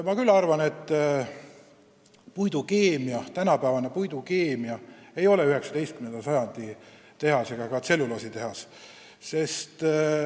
Mina küll arvan, et tänapäevane puidukeemia ei tähenda 19. sajandi paberivabrikut või tselluloositehast.